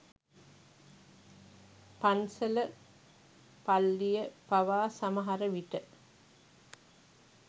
පන්සල පල්්ලිය පවා සමහර විට